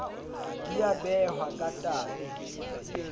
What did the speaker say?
di a behwa ka tate